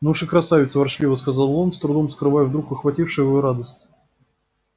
ну уж и красавица ворчливо сказал он с трудом скрывая вдруг охватившую его радость